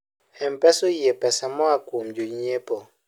mpesa oyie pesa moa kuom jonyiepo